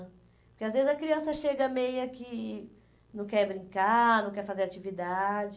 Porque às vezes a criança chega meia que não quer brincar, não quer fazer atividade.